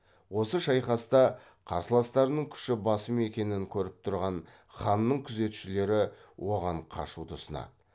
осы шайқаста қарсыластарының күші басым екенін көріп тұрған ханның күзетшілері оған қашуды ұсынады